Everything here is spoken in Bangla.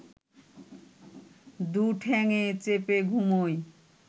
দু’ঠ্যাংএ চেপে ঘুমোই